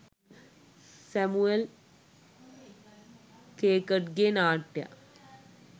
Samuel ඛෙකට්ගේ නාට්‍යයක්